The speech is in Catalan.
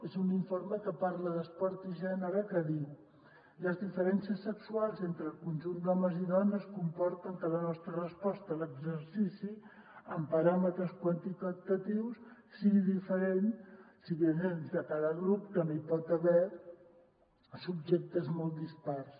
és un informe que parla d’esport i gènere que diu les diferències se·xuals entre el conjunt d’homes i dones comporten que la nostra resposta a l’exercici en paràmetres quantitatius sigui diferent si bé dins de cada grup també hi pot haver subjectes molt dispars